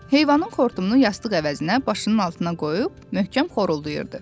Heyvanın xortumunu yastıq əvəzinə başının altına qoyub möhkəm xoruldayırdı.